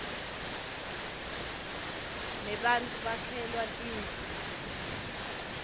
nebattfu bakhelwa tindlu